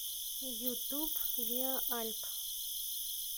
ютуб виа альп